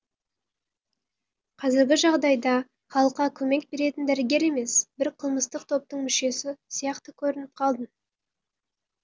қазіргі жағдайда халыққа көмек беретін дәрігер емес бір қылмыстық топтың мүшесі сияқты көрініп қалдым